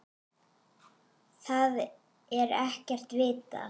Það er ekkert vitað.